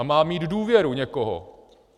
A má mít důvěru někoho.